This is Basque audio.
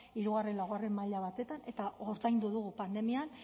hiru lau maila batean eta ordaindu dugu pandemian